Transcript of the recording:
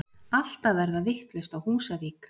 Allt að verða vitlaust á Húsavík!!!!!